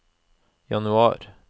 januar